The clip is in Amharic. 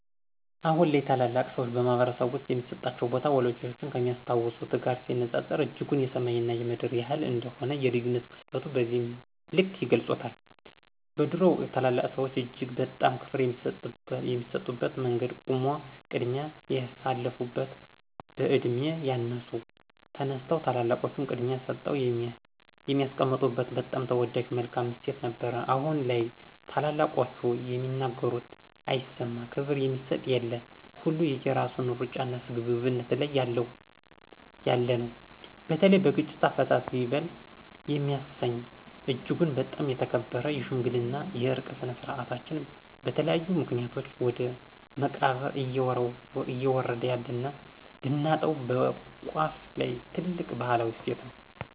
አሁን ላይ ታላላቅ ሰዎች በማህበረሰብ ውስጥ የሚሰጣቸው ቦታ፣ ወላጆቻችን ከሚያስታውሱት ጋር ሲነጻጸር እጅጉን የሰማይ እና የምድር ያህል እንደሆነ የልዩነት ግዝፈቱን በዚህ ልክ ይገልፁታል። በድሮው ወቅት ታላላቅ ሰዎች እጅግ በጣም ክብር የሚሰጡበት መንገድ ቆሞ ቅድሚያ የሳልፋበት፣ በዕድሜ ያነሱ ተነስተው ታላላቆቹን ቅድሚያ ሰጠው የሚያስቀምጡበት በጣም ተወዳጅ መልካም እሴት ነበረን አሁን ላይ ታላላቆቹ የሚናገሩት አይሰማ፣ ክብር የሚሰጥ የለ፣ ሁሉ የየራሱን ሩጫና ስግብግብነት ላይ ነው ያለነው። በተለይ በግጭት አፈታት ይበል የሚያሰኝ እጅጉን በጣም የተከበረ የሽምግልና የዕርቅ ስነ-ስርዓታችን በተለያዩ ምክኒያቶች ወደ መቃብር እዬወረደ ያለና ልናጣው በቋፍ ላይ ትልቅ ባህላዊ እሴት ነው።